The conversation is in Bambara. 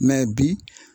bi